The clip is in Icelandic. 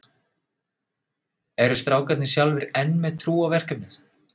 Eru strákarnir sjálfir enn með trú á verkefnið?